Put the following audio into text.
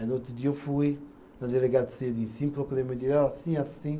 Aí no outro dia eu fui na delegacia de ensino, procurei o meu, ó assim, assim.